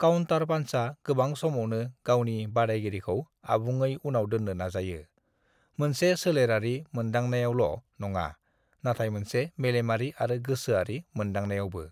"Counter पान्चा गोबां समावनो गावनि बादायगिरिखौ आबुङै उनाव दोन्नो नाजायो, मोनसे सोलेरारि मोनदांनायावल' नङा, नाथाय मोनसे मेलेमारि आरो गोसोआरि मोनदांनायावबो।"